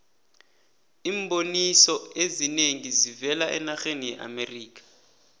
iimboniso ezinengi zivela enarheni yeamerikha